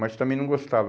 Mas também não gostava.